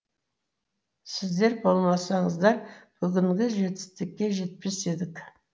сіздер болмасаңыздар бүгінгі жетістікке жетпес едік